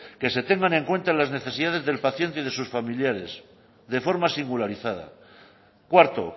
que se tengan en cuenta las necesidades del paciente y de sus familiares de forma singularizada cuarto